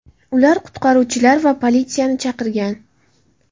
Ular qutqaruvchilar va politsiyani chaqirgan.